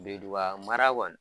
Birintuba mara kɔni.